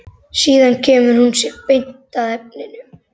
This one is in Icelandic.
Síðan kemur hún sér beint að efninu.